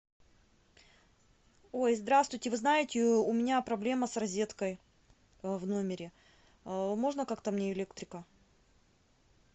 ой здравствуйте вы знаете у меня проблема с розеткой в номере можно как то мне электрика